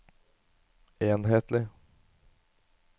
enhetlig